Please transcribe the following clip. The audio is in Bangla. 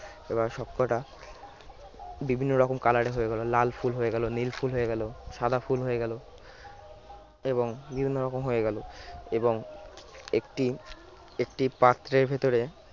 এবার সবকটা বিভিন্ন রকম color হয়ে গেল লাল ফুল হয়ে গেল নীল ফুল হয়ে গেল সাদা ফুল হয়ে গেল এবং বিভিন্ন রকম হয়ে গেল এবং একটি একটি পাত্রের ভেতরে